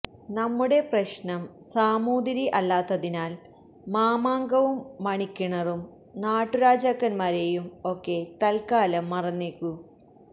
നമ്മുടെ പ്രശ്നം സാമൂതിരി അല്ലാത്തതിനാൽ മാമാങ്കവും മണിക്കിണറും നാട്ടുരാജാക്കന്മാരെയും ഒക്കെ തത്കാലം മറന്നേക്കൂ